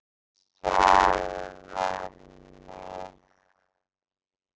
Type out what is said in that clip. Við sjálfan mig.